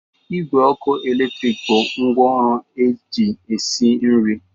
Igwe ọkụ eletrik bụ ngwaọrụ eji esi nri